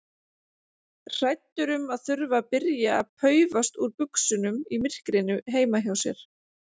Hræddur um að þurfa að byrja að paufast úr buxunum í myrkrinu heima hjá sér.